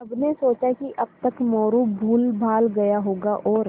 सबने सोचा कि अब तक मोरू भूलभाल गया होगा और